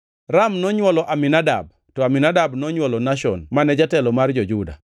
Ram nonywolo Aminadab, to Aminadab nonywolo Nashon mane jatelo mar jo-Juda.